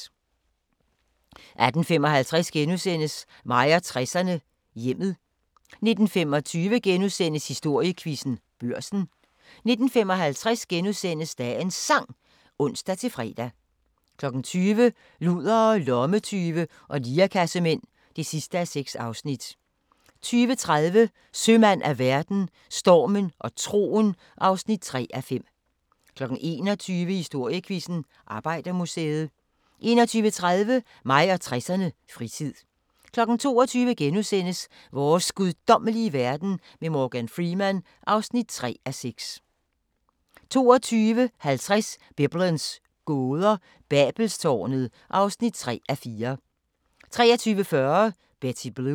18:55: Mig og 60'erne: Hjemmet * 19:25: Historiequizzen: Børsen * 19:55: Dagens Sang *(ons-fre) 20:00: Ludere, lommetyve og lirekassemænd (6:6) 20:30: Sømand af verden – Stormen og troen (3:5) 21:00: Historiequizzen: Arbejdermuseet 21:30: Mig og 60'erne: Fritid 22:00: Vores guddommelige verden med Morgan Freeman (3:6)* 22:50: Biblens gåder – Babelstårnet (3:4) 23:40: Betty Blue